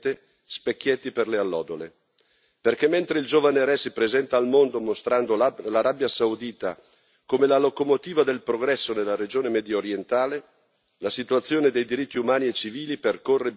Perché, mentre il giovane re si presenta al mondo mostrando l'Arabia Saudita come la locomotiva del progresso nella regione mediorientale, la situazione dei diritti umani e civili percorre binari che conducono in tutt'altra direzione.